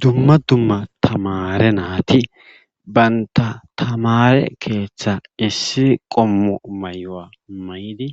Dumma dumma tamare naati banta tamare keeththa issi qommo mayo'a may'di